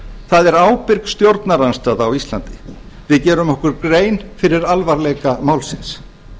það er ábyrg stjórnarandstaða á íslandi við gerum okkur grein fyrir alvarleika málsins